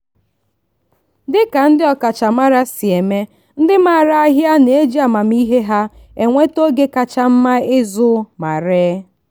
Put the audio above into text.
dịka ndị ọkachamara si eme ndị maara ahịa na-eji amamihe ha enweta oge kacha mma ịzụ ma ree.